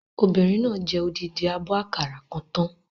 Ọmọbìnrin náà jẹ odidi àbọ̀ àkàrà kan tán